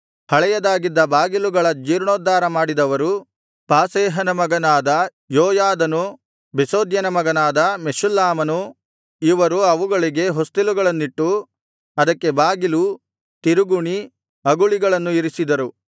ಹಳೆಯದಾಗಿದ್ದ ಬಾಗಿಲುಗಳ ಜೀರ್ಣೋದ್ಧಾರ ಮಾಡಿದವರು ಪಾಸೇಹನ ಮಗನಾದ ಯೋಯಾದನೂ ಬೆಸೋದ್ಯನ ಮಗನಾದ ಮೆಷುಲ್ಲಾಮನೂ ಇವರು ಅವುಗಳಿಗೆ ಹೊಸ್ತಿಲುಗಳನ್ನಿಟ್ಟು ಅದಕ್ಕೆ ಬಾಗಿಲು ತಿರುಗುಣಿ ಅಗುಳಿಗಳನ್ನು ಇರಿಸಿದರು